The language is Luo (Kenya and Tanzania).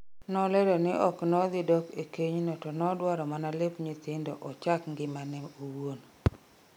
Nolero ne oknodhi dok e keny no to nodwaro mana lep nyithindo ochak ngimane owuon